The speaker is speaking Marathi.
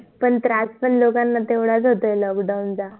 पण त्रास पण तेवढाच होतोय लोकांना lockdown चा